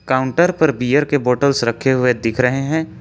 Counter पर beer के bottles रखे हुए दिख रहे है।